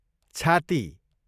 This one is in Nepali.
छाती